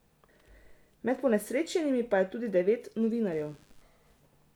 Med ponesrečenimi pa je tudi devet novinarjev.